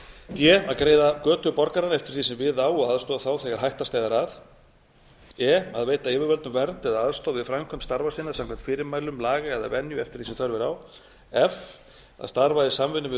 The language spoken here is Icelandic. að greiða götu borgaranna eftir því sem við á og aðstoða þá þegar hætta steðjar að e að veita yfirvöldum vernd eða aðstoð við framkvæmd starfa sinna samkvæmt fyrirmælum laga eða venju eftir því sem þörf er á f að starfa í samvinnu við